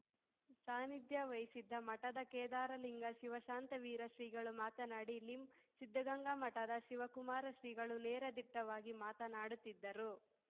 ಸಾನ್ನಿಧ್ಯ ವಹಿಸಿದ್ದ ಮಠದ ಕೇದಾರಲಿಂಗ ಶಿವಶಾಂತವೀರ ಶ್ರೀಗಳು ಮಾತನಾಡಿ ಲಿಂ ಸಿದ್ದಗಂಗಾ ಮಠದ ಶಿವಕುಮಾರ ಶ್ರೀಗಳು ನೇರ ದಿಟ್ಟವಾಗಿ ಮಾತನಾಡುತ್ತಿದ್ದರು